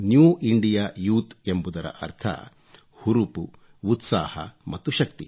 new India youth ಎಂಬುದರ ಅರ್ಥ ಹುರುಪು ಉತ್ಸಾಹ ಮತ್ತು ಶಕ್ತಿ